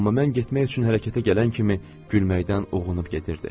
Amma mən getmək üçün hərəkətə gələn kimi gülməkdən uğrunub gedirdi.